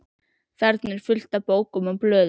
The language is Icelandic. Þarna er allt fullt af bókum og blöðum.